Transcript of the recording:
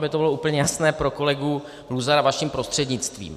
Aby to bylo úplně jasné pro kolegu Luzara vaším prostřednictvím.